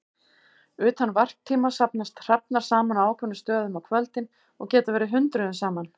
Utan varptíma safnast hrafnar saman á ákveðnum stöðum á kvöldin og geta verið hundruðum saman.